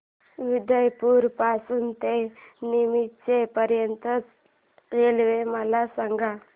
उदयपुर पासून ते नीमच पर्यंत च्या रेल्वे मला सांगा